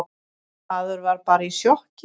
Maður var bara í sjokki.